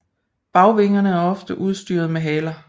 Bagvingerne er ofte udstyret med haler